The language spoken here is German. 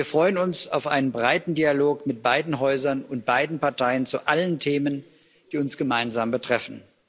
Wir freuen uns auf einen breiten Dialog mit beiden Häusern und beiden Parteien zu allen Themen, die uns gemeinsam betreffen.